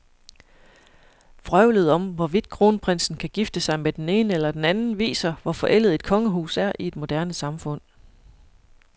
Vrøvlet om, hvorvidt kronprinsen kan gifte sig med den ene eller den anden, viser, hvor forældet et kongehus er i et moderne samfund.